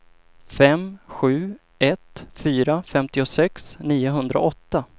fem sju ett fyra femtiosex niohundraåtta